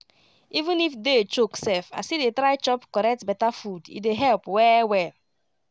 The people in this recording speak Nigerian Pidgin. even if day choke sef i still dey try chop correct beta food e dey help well well.